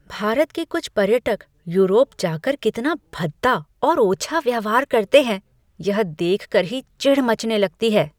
भारत के कुछ पर्यटक यूरोप जा कर कितना भद्दा और ओछा व्यवहार करते हैं, यह देख कर ही चिढ़ मचने लगती है।